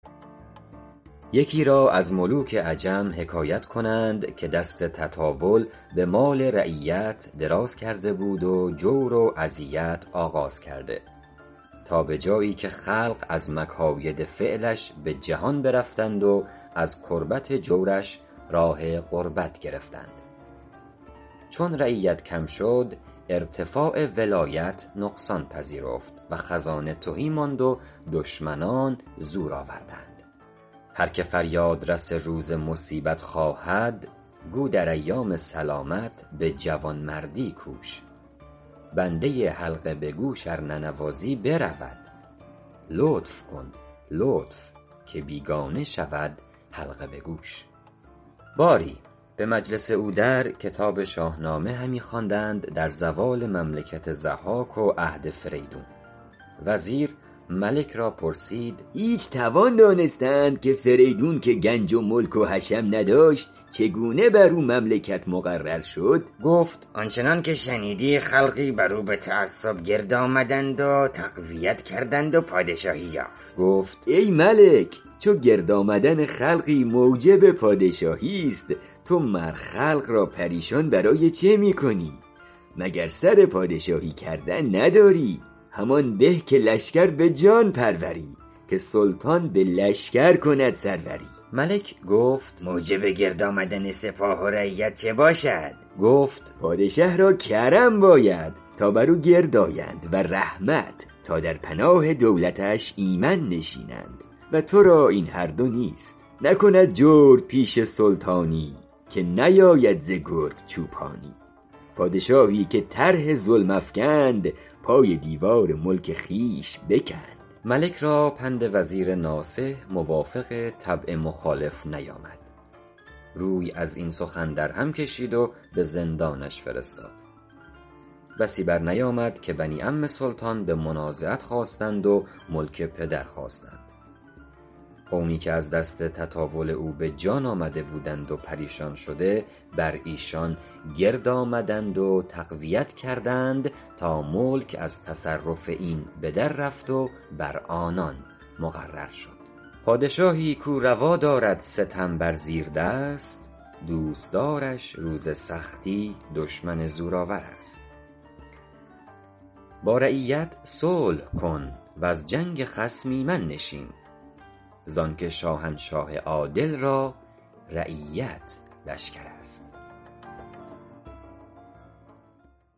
یکی را از ملوک عجم حکایت کنند که دست تطاول به مال رعیت دراز کرده بود و جور و اذیت آغاز کرده تا به جایی که خلق از مکاید فعلش به جهان برفتند و از کربت جورش راه غربت گرفتند چون رعیت کم شد ارتفاع ولایت نقصان پذیرفت و خزانه تهی ماند و دشمنان زور آوردند هر که فریاد رس روز مصیبت خواهد گو در ایام سلامت به جوانمردی کوش بنده حلقه به گوش ار ننوازی برود لطف کن لطف که بیگانه شود حلقه به گوش باری به مجلس او در کتاب شاهنامه همی خواندند در زوال مملکت ضحاک و عهد فریدون وزیر ملک را پرسید هیچ توان دانستن که فریدون که گنج و ملک و حشم نداشت چگونه بر او مملکت مقرر شد گفت آن چنان که شنیدی خلقی بر او به تعصب گرد آمدند و تقویت کردند و پادشاهی یافت گفت ای ملک چو گرد آمدن خلقی موجب پادشاهیست تو مر خلق را پریشان برای چه می کنی مگر سر پادشاهی کردن نداری همان به که لشکر به جان پروری که سلطان به لشکر کند سروری ملک گفت موجب گرد آمدن سپاه و رعیت چه باشد گفت پادشه را کرم باید تا بر او گرد آیند و رحمت تا در پناه دولتش ایمن نشینند و ترا این هر دو نیست نکند جورپیشه سلطانی که نیاید ز گرگ چوپانی پادشاهی که طرح ظلم افکند پای دیوار ملک خویش بکند ملک را پند وزیر ناصح موافق طبع مخالف نیامد روی از این سخن در هم کشید و به زندانش فرستاد بسی بر نیامد که بنی عم سلطان به منازعت خاستند و ملک پدر خواستند قومی که از دست تطاول او به جان آمده بودند و پریشان شده بر ایشان گرد آمدند و تقویت کردند تا ملک از تصرف این به در رفت و بر آنان مقرر شد پادشاهی کاو روا دارد ستم بر زیردست دوستدارش روز سختی دشمن زورآورست با رعیت صلح کن وز جنگ خصم ایمن نشین زان که شاهنشاه عادل را رعیت لشکرست